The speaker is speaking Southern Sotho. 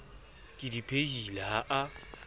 ke di phehileng ha a